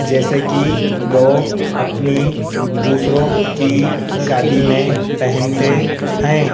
जैसे की लोग अपनी दूसरों की शादी में पहनते हैं।